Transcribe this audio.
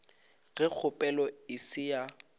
ge kgopelo e se ya